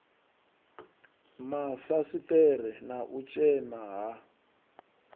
mafasiṱere na u tshema ha